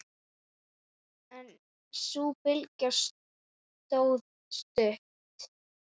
En sú bylgja stóð stutt.